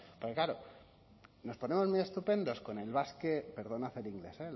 pero claro nos ponemos muy estupendos con el